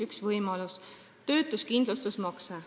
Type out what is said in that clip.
Üks võimalus on töötuskindlustusmakse.